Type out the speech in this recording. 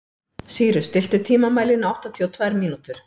Sýrus, stilltu tímamælinn á áttatíu og tvær mínútur.